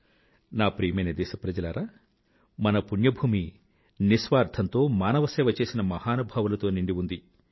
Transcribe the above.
నా ప్రియమైన దేశప్రజలారా మన పుణ్య భూమి నిస్వార్థంతో మానవసేవ చేసిన మహానుభావులతో నిండి ఉంది